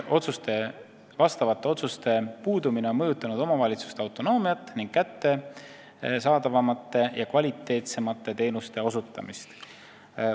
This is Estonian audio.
Kuidas vastavate otsuste puudumine on mõjutanud omavalitsuse autonoomiat ning kättesaadavamate ja kvaliteetsemate teenuste osutamist?